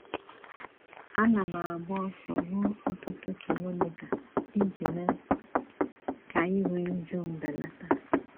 Ana m agba ọsọ ruo ọtụtụ kilomita iji mee ka iru újú m belata.